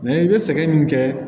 i bɛ sɛgɛn min kɛ